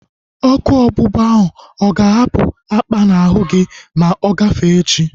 Ọkụ ọgbụgba ahu aga ahapụ apa n'ahu gị ma ọ gafee echi?